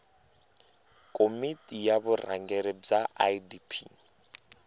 komiti ya vurhangeri bya idp